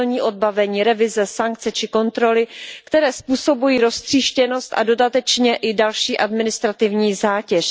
celní odbavení, revize, sankce či kontroly, které způsobují roztříštěnost a dodatečně i další administrativní zátěž.